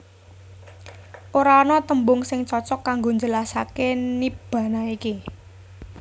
Ora ana tembung sing cocok kanggo njelasaké Nibbana iki